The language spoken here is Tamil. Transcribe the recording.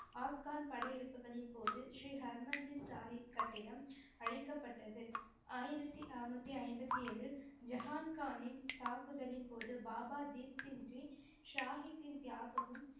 ஆஃப்கன் படையெடுப்புகளின் போது ஸ்ரீ ஹர்மந்திர் சாஹிப் கட்டிடம் அழிக்கப்பட்டது. ஆயிரத்தி அறநூத்தி ஐம்பத்தி ஏழில் ஜஹான் கானின் தாக்குதலின் போது பாபா தீப் சிங் ஜி சாஹிப்பின் தியாகமும்,